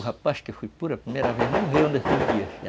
Um rapaz que fui por a primeira vez, não veio nesses dias.